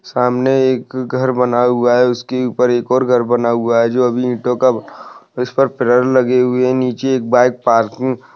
सामने एक घर बना हुआ है उसकी ऊपर एक और घर बना हुआ है जो अभी ईटो का प्लेर लगी हुई हे नीचे एक बाइक पार्किंग --